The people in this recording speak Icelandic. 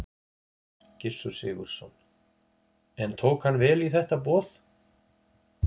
Gissur Sigurðsson: En tók hann vel í þetta boð?